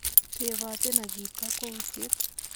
Teboten ak iib kokwoutiet.